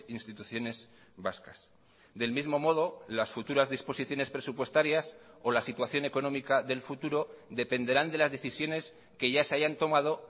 instituciones vascas del mismo modo las futuras disposiciones presupuestarias o la situación económica del futuro dependerán de las decisiones que ya se hayan tomado